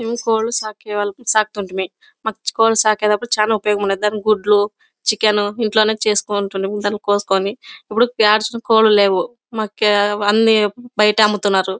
మేము కోళ్లు సాకే సాకితుంటిమి. కోళ్లు సాకేటప్పుడు చాలా ఉపయోగం ఉంది. దాని గుడ్లు చికెన్ ఇంట్లోనే చేసుకుంటాము. దాన్ని కోసుకుని. ఇప్పుడు చేసే కోళ్లు లేవు. ఇప్పుడు అన్ని బయట అమ్ముతున్నారు.